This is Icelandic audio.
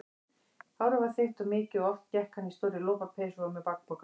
Hárið var þykkt og mikið og oft gekk hann í stórri lopapeysu og með bakpoka.